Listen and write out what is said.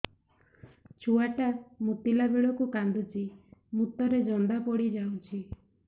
ଛୁଆ ଟା ମୁତିଲା ବେଳକୁ କାନ୍ଦୁଚି ମୁତ ରେ ଜନ୍ଦା ପଡ଼ି ଯାଉଛି